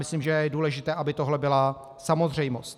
Myslím, že je důležité, aby tohle byla samozřejmost.